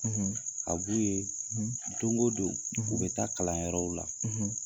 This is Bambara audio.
, a b'u ye don o don, u bɛ taa kalanyɔrɔw la.